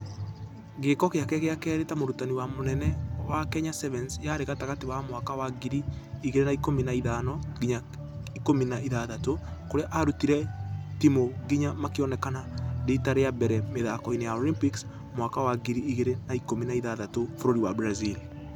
Gĩĩko gĩake gĩa kerĩ ta mũrutani wa mũnene wa kenya sevens yarĩ gatagatĩ wa mwaka wa ngiri igĩrĩ na ikũmi na iithano nginya ikũmi na ithathatũ. Kũrĩa ararutire timũ nginya makĩonekana rita rĩa rĩa mbere mĩthako-inĩ ya olympics mwaka wa ngiri igĩrĩ na ikũmi na ithathatũ bũrũri wa brazil.